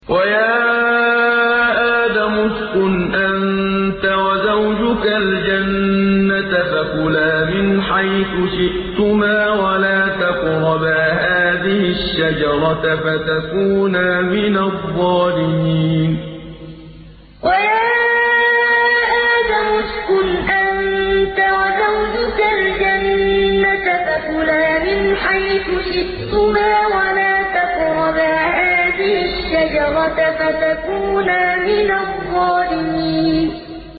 وَيَا آدَمُ اسْكُنْ أَنتَ وَزَوْجُكَ الْجَنَّةَ فَكُلَا مِنْ حَيْثُ شِئْتُمَا وَلَا تَقْرَبَا هَٰذِهِ الشَّجَرَةَ فَتَكُونَا مِنَ الظَّالِمِينَ وَيَا آدَمُ اسْكُنْ أَنتَ وَزَوْجُكَ الْجَنَّةَ فَكُلَا مِنْ حَيْثُ شِئْتُمَا وَلَا تَقْرَبَا هَٰذِهِ الشَّجَرَةَ فَتَكُونَا مِنَ الظَّالِمِينَ